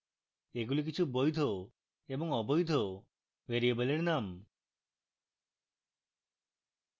এগুলি কিছু বৈধ এবং অবৈধ ভ্যারিয়েবলের names